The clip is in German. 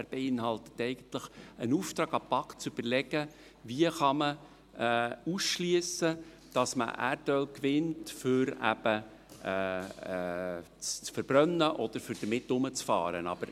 er beinhaltet eigentlich einen Auftrag an die BaK, zu überlegen, wie man ausschliessen kann, dass man Erdöl für die Verbrennung oder für das Herumfahren gewinnt.